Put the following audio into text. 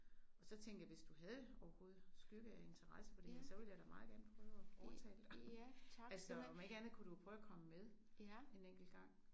Og så tænkte jeg hvis du havde overhovedet skygge af interesse for det så ville jeg meget gerne prøve at overtale dig. Altså om ikke andet kunne du prøve at komme med en enkelt gang